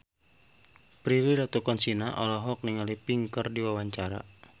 Prilly Latuconsina olohok ningali Pink keur diwawancara